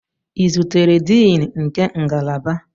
Ị zutere Diini nke ngalaba?